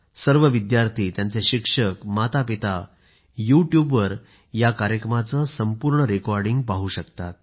सर्व विद्यार्थी त्यांचे शिक्षक मातापिता यूट्यूबवर या कार्यक्रमाचे संपूर्ण रेकॉर्डिंग पाहू शकतात